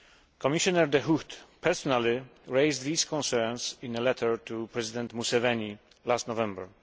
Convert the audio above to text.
Commissioner De Gucht personally raised these concerns in a letter to President Museveni last November.